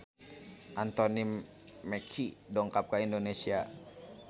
Anthony Mackie dongkap ka Indonesia